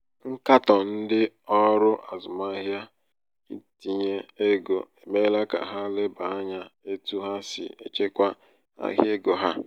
nkatọ ndị ọrụ azụmahịa ntinye ego emeela ka ha leba ányá etu ha si echekwa ahịa égo ha.